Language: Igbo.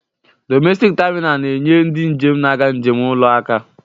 Domestik taminal na-enye ndị njem na-aga njem ụlọ aka.